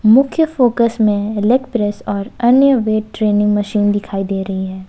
मुख्य फोकस में leg press और अन्य वेट ट्रेनिंग मशीन दिखाई दे रही है।